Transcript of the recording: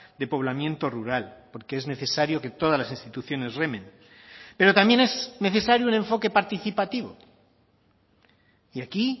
de poblamiento rural porque es necesario que todas las instituciones remen pero también es necesario el enfoque participativo y aquí